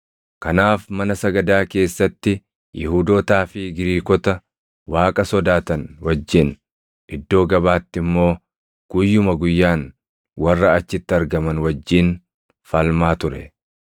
Kanaaf mana sagadaa keessatti Yihuudootaa fi Giriikota Waaqa sodaatan wajjin, iddoo gabaatti immoo guyyuma guyyaan warra achitti argaman wajjin falmaa ture.